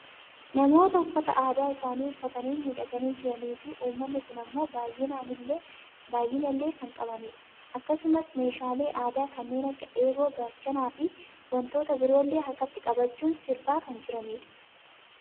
Namoota uffaata aadaa isaanii uffaatanii miidhaganii jiranii fi uummanni kun ammoo baayyina illee kan qabanidha. Akkasumas meeshaalee aadaa kanneen akka eeboo, gaachanaafi wantoota biroollee harkatti qabachuun sirbaa kan jirani dha.